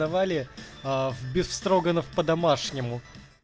давали аа в бефстроганов по-домашнему